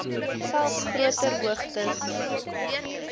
selfs groter hoogtes